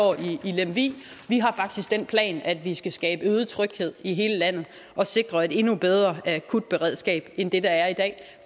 i den plan at vi skal skabe øget tryghed i hele landet og sikre et endnu bedre akutberedskab end det der er i dag